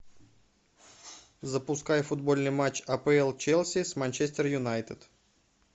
запускай футбольный матч апл челси с манчестер юнайтед